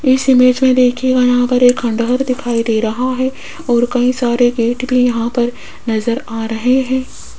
इस इमेज में देखिएगा यहाँ पर एक खंडहर दिखाई दे रहा है और कही सारे बेड भी यहा पर नज़र आ रहे हैं।